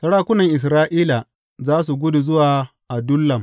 Sarakunan Isra’ila za su gudu zuwa Adullam.